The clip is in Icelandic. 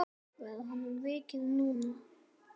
Verður honum vikið núna?